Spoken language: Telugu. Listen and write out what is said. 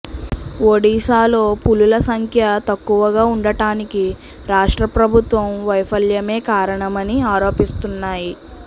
ఒడిశాలో పులుల సంఖ్య తక్కువగా ఉండటానికి రాష్ట్ర ప్రభుత్వం వైఫల్యమే కారణమని ఆరోపిస్తున్నాయి